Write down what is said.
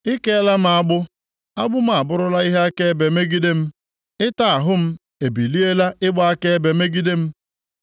I keela m agbụ; agbụ m abụrụla ihe akaebe megide m; ịta ahụ m ebiliela ịgba akaebe megide m.